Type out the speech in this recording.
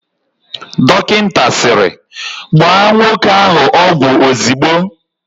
Dọkịta sịrị, "gbaa nwoke ahụ ọgwụ ozigbo"!